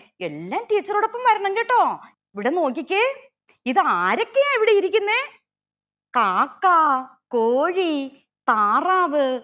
എല്ലാരും teacher ഓടൊപ്പം വരണം കേട്ടോ ഇവിടെ നോക്കിക്കെ ഇതാരൊക്കെയാ ഇവിടെ ഇരിക്കുന്നെ കാക്ക കോഴി താറാവ്